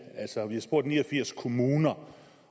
altså man har spurgt ni og firs kommuner